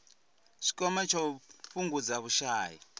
tshikwama tsha u fhungudza vhushai